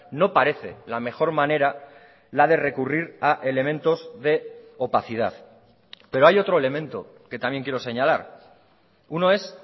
no parece la mejor manera la de recurrir a elementos de opacidad pero hay otro elemento que también quiero señalar uno es